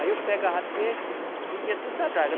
Aí eu pegava peixe, vendia tudo na draga.